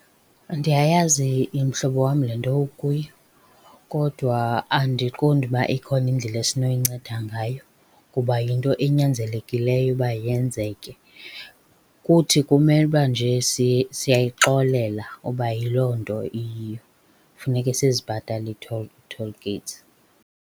Ndiyayazi mhlobo wam le nto ukuyo, kodwa andiqondi uba ikhona indlela esinoyinceda ngayo kuba yinto enyanzelekileyo uba yenzeke. Kuthi kumele uba nje siyayixolela uba yiloo nto iyiyo, funeke sizibhatale ii-toll, toll gates.